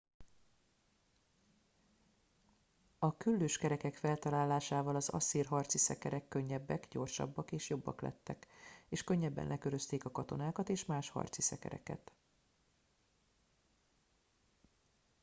a küllős kerekek feltalálásával az asszír harci szekerek könnyebbek gyorsabbak és jobbak lettek és könnyebben lekörözték a katonákat és más harci szekereket